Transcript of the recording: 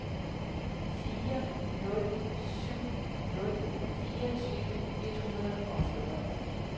fire nul syv nul fireogtyve et hundrede og fjorten